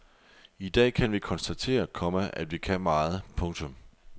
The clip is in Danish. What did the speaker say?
I dag kan vi konstatere, komma at vi kan meget. punktum